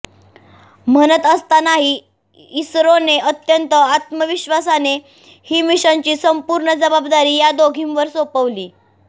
म्हणत असतानाही इसरोने अत्यंत आत्मविश्वासाने ही मिशनची संपूर्ण जबाबदारी या दोघींवर सोपवली